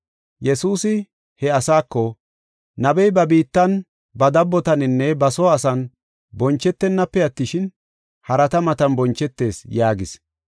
Yesuusi he asaako, “Nabey ba biittan, ba dabbotaninne ba soo asan bonchetenafe attishin, harata matan bonchetees” yaagis.